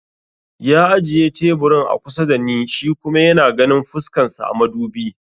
Ya ajiye teburin a kusa da ni shi kuma yana ganin fuskan sa a madubi